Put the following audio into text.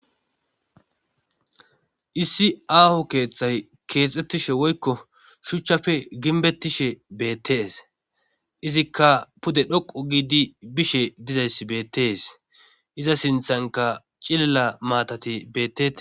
Issi aaho keeththay keexxettishe woykko shuchchafe ginbettishe beettees izikka pude dhoqo giidi bishe dizayss beettees iza sinthanka cililla maatati betee.